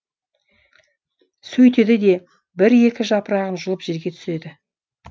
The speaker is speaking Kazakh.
сөйтеді де бір екі жапырағын жұлып жерге түсіреді